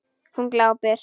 Hún glápir.